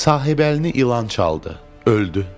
Sahibəlini ilan çaldı, öldü.